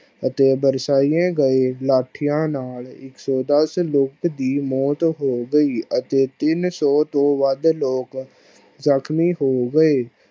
ਅਤੇ ਬਰਸਾਇਆ ਗਈਆਂ ਲਾਠੀਆਂ ਨਾਲ ਇੱਕ ਸੋ ਦਸ ਲੋਕ ਦੀ ਮੋਤ ਹੋ ਗਈ ਅਤੇ ਤਿੰਨ ਸੋ ਤੋਂ ਵੱਧ ਲੋਕ ਜ਼ਖਮੀ ਹੋ ਗਏ ।